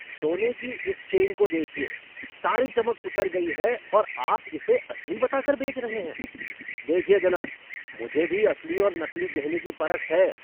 सोने की इस चेन को देखिए, सारी चमक उतर गई है और आप इसे असली बताकर बेच रहे हैं? देखिए जनाब! मुझे भी असली और नकली गहने की परख है!